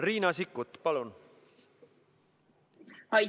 Riina Sikkut, palun!